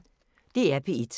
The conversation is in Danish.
DR P1